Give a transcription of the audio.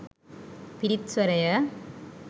පිරිත් ස්වරය